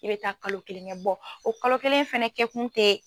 I bɛ taa kalo kelen kɛ o kalo kelen fana kɛ kun tɛ